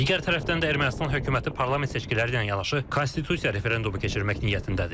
Digər tərəfdən də Ermənistan hökuməti parlament seçkiləri ilə yanaşı konstitusiya referendumu keçirmək niyyətindədir.